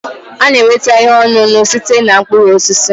A na-enweta ihe ọṅụṅụ sitere na mkpụrụ osisi